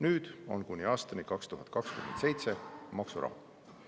Nüüd on kuni aastani 2027 maksurahu.